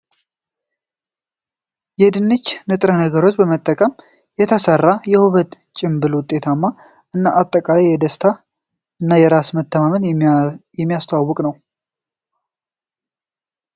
የድንች ንጥረ ነገሮች ን በመጠቀ ም የተሰራው ን የውበት ጭንብል ውጤታማነት እና አጠቃቀም በደስታ እና በራስ መተማመን የሚያስተዋውቅ ነው ።